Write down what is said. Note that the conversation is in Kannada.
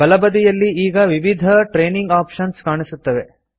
ಬಲಬದಿಯಲ್ಲಿ ಈಗ ವಿವಿಧ ಟ್ರೇನಿಂಗ್ ಆಪ್ಷನ್ಸ್ ಕಾಣುತ್ತವೆ